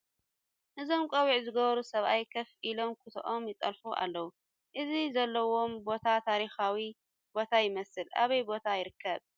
እዞም ቆቢዕ ዝገበሩ ሰብኣይ ኮፍ ኢሎም ኩትኦም ይጠልፉ ኣለዉ ። እዚ ዘለዉዎ ቦታ ታሪካዊ ቦታ ይመስል ኣበይ ቦታ ይርከብ ?